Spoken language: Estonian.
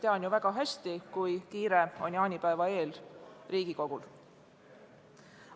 Tean ju väga hästi, kui kiire on jaanipäeva eel Riigikogul.